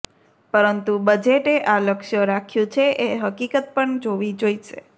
પરંતુ બજેટે આ લક્ષ્ય રાખ્યું છે એ હકીકત પણ જોવી જોઈશે